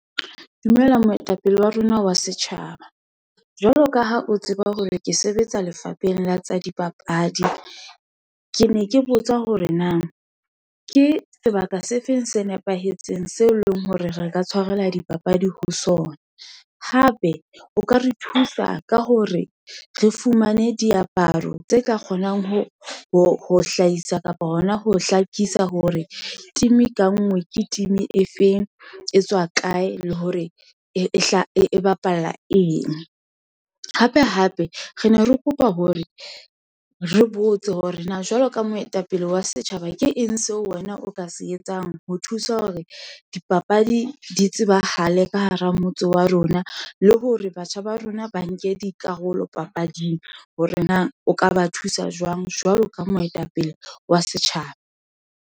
Dumela moetapele wa rona wa setjhaba, jwalo ka ha o tseba hore ke sebetsa lefapheng la tsa dipapadi, ke ne ke botsa hore na, ke sebaka se feng se nepahetseng seo e leng hore re ka tshwarelwa dipapadi ho sona. Hape o ka re thusa ka hore re fumane diaparo tse ka kgonang ho hlahisa kapa hona ho hlakisa, hore team-e ka ngwe, ke team-e feng, e tswa kae, le hore e bapalla eng. Hape, hape re ne re kopa hore re botse hore na, jwalo ka moetapele wa setjhaba, ke eng seo wena o ka se etsang, ho thusa hore dipapadi di tsebahale ka hara motse wa rona, le hore batjha ba rona ba nke dikarolo papading, hore na o ka ba thusa jwang. Jwalo ka moetapele wa setjhaba.